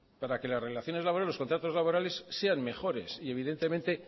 para que las relaciones laborales los contratos laborales sean mejores y evidentemente